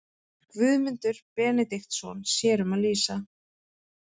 Guðmundur Benediktsson sér um að lýsa.